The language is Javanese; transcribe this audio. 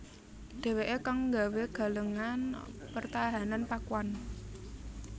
Dhèwèké kang nggawé galengan pertahanan Pakuan